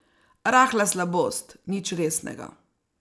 Rahla slabost, nič resnega.